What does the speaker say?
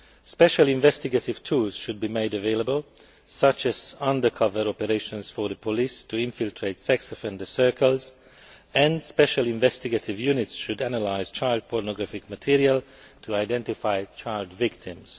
Special investigative tools should be made available, such as undercover operations for the police to infiltrate sex offender circles, and special investigative units should analyse child pornography material to identify child victims.